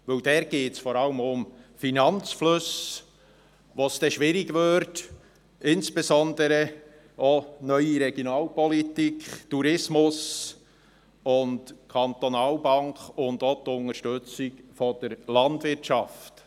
Denn dort geht es vor allem auch um Finanzflüsse, bei denen es schwierig würde, insbesondere auch Neue Regionalpolitik (NRP), Tourismus, Kantonalbank und auch die Unterstützung der Landwirtschaft.